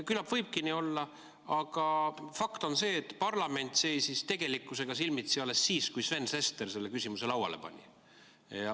Küllap võibki nii olla, aga fakt on see, et parlament seisis tegelikkusega silmitsi alles siis, kui Sven Sester selle küsimuse lauale pani.